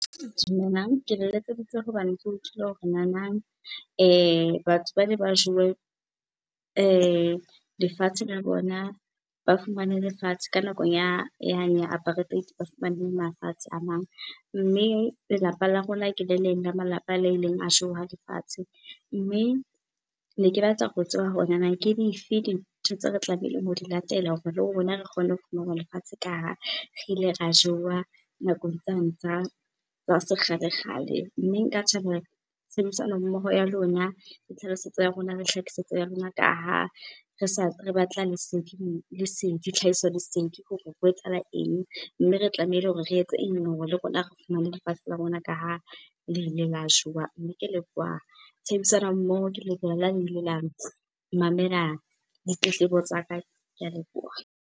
Dumelang, ke letseditse hobane ke utlwile hore nanang batho bana ba jowe lefatshe la bona, ba fumane lefatshe ka nakong yane ya apartheid, ba fumane le mafatshe a mang. Mme lelapa la rona ke le leng la malapa a le ileng a jowa lefatshe. Mme, ne ke batla ho tseba hore nana ke dife dintho tse re tlamehileng ho di latela hore le rona re kgone ho fumana lefatshe ka ha re ile ra jowa nakong tsane tsa sekgale-kgale. Mme nka thabela tshebedisano mmoho ya lona, le tlhalosetso ya rona, le hlakisetso ya lona ka ha re , re batla lesedi, tlhahiso-lesedi hore ho etsahala eng, mme re tlamehile hore re etse eng hore le rona re fumane lefatshe la rona ka ha le ile la jowa. Mme ke leboha tshebedisano mmoho, ke leboha la le ile la mamela ditletlebo tsa ka, ke a leboha.